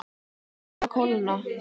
Leyfið að kólna.